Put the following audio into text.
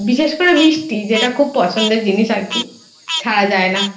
বিশেষ করে মিষ্টি যেটা খুব পছন্দের জিনিস আর কি